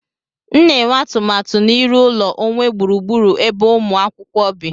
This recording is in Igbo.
M na-enwe atụmatụ na-iru ụlọ onwe gburugburu ebe umu akwukwo bi